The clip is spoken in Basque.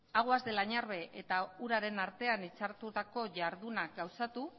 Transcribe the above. aguas del añarbe eta uraren artean hitzartutako ihardunak gauzatu